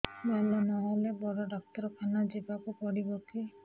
ଭଲ ନହେଲେ ବଡ ଡାକ୍ତର ଖାନା ଯିବା କୁ ପଡିବକି